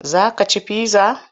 Za ka ci pizza?